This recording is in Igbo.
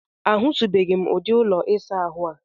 A hụtụbeghị m ụdị ụlọ ịsa ahụ a.